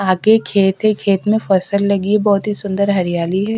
आगे खेत है खेत में फसल लगी है बहुत ही सुंदर हरियाली है।